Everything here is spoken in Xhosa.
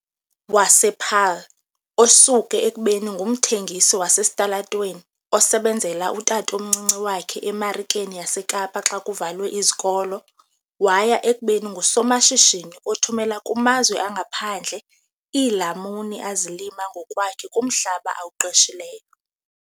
wasePaarl, osuke ekubeni ngumthengisi wasesitalatweni osebenzela utatomncinci wakhe eMarikeni yaseKapa xa kuvalwe izikolo waya ekubeni ngusomashishini othumela kumazwe angaphandle iilamuni azilima ngokwakhe kumhlaba awuqeshileyo.